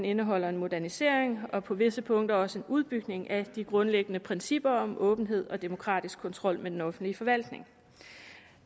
indeholder en modernisering og på visse punkter også en udbygning af de grundlæggende principper om åbenhed og demokratisk kontrol med den offentlige forvaltning